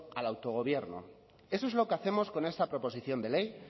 al autogobierno eso es lo que hacemos con esta proposición de ley